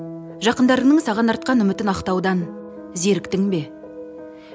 жақындарыңның саған артқан үмітін ақтаудан зеріктің бе